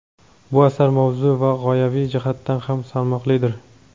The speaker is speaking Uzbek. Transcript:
Bu asar mavzu va g‘oyaviy jihatdan ham salmoqlidir.